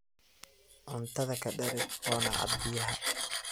Cuntadha kadareg oona cab biyaxa.